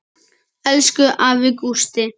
Elsku afi Gústi.